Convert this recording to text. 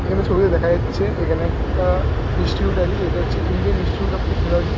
এইখানে ছবিতে দেখা যাচ্ছে এইখানে একটা ইনস্টিটিউট আছে যেটা হচ্ছে ইন্ডিয়ান ইনস্টিটিউট অফ টেকনোলজি